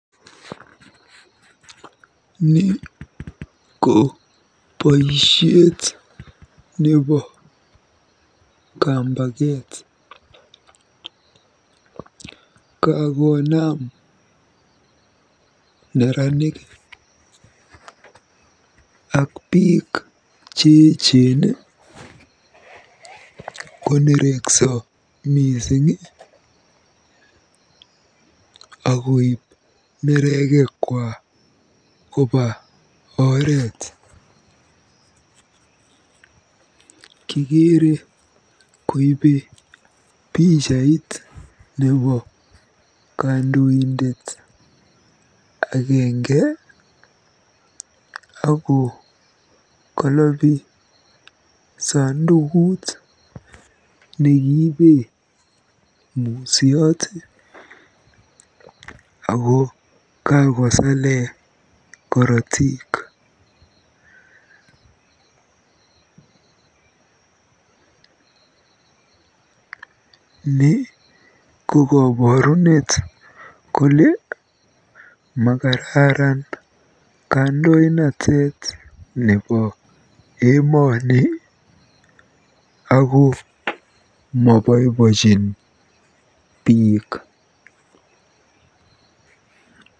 Ni ko boisiet nebo kambaket. Kakoonam neranik ak biik cheechen konerekso mising akoib neregekwa koba oret. Kikeere koibe pichait nebo kandoindet agenge ako kolobi sandukut nekiibe musyot ako kakosale korotik. Ni ko koborunet kole makararan kandoinatet nebo emoni ako mobobojin biik.